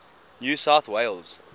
new south wales